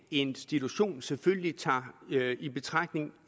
institution selvfølgelig tager i betragtning